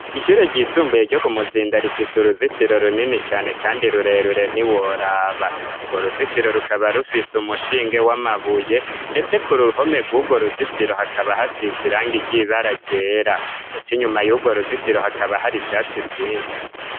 Ishure ryisumbuye ryo ku muzinda rifise uruzitiro runini cane kandi rurerure ntiworaba. Urwo ruzitiro rukaba rufise umushinge w'amabuye ndetse ku ruhome rwurwo ruzitiro hakaba hasize irangi ry'ibara ryera ndetse inyuma y'urwo ruzitiro hakaba hari vyatsi vyinshi.